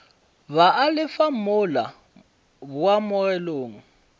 ba a lefa mola boamogelong